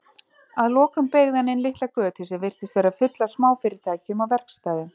Að lokum beygði hann inn litla götu sem virtist vera full af smáfyrirtækjum og verkstæðum.